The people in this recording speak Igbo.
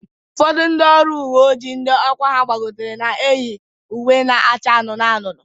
Ụfọdụ ndị ọrụ uwe ojii ndị ọkwa ha gbagotere na-eyi uwe na-acha anụnụ anụnụ